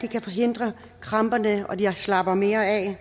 kan forhindre kramperne og gøre at de slapper mere af jeg